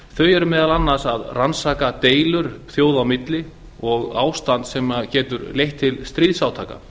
eru meðal annars að rannsaka deilur þjóða á milli og ástand sem getur leitt til stríðsátaka